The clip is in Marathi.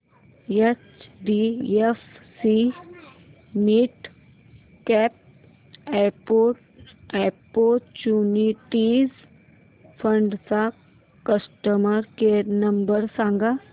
एचडीएफसी मिडकॅप ऑपर्च्युनिटीज फंड चा कस्टमर केअर नंबर सांग